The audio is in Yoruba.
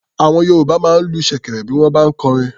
Àwọn Yorùbá máa ń lu ṣèkẹ̀rẹ̀ bí wọ́n bá ń kọrin.